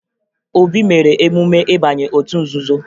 Obi mere emume ịbanye otu nzuzo